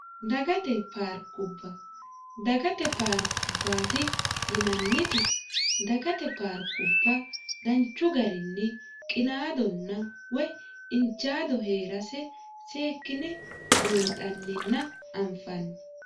dagate paarkubba dagate paarkubbaati yinanniti dagate paarkubba danchu garinni qinaadonna woy injaado hee'rase seekkine buunxanninna anfanni